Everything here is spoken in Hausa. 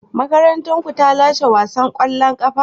Makarantarku ta lashe wasan kwallon kafa?